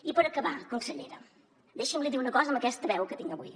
i per acabar consellera deixi’m li dir una cosa amb aquesta veu que tinc avui